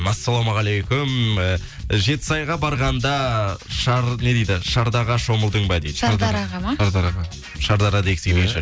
ассалаумағалейкум і жетісайға барғанда не дейді шомылдың ба дейді шардараға ма шардараға шардара дегісі келген